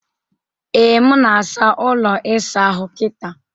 Ee, m na-asa ụlọ ịsa ahụ kịta.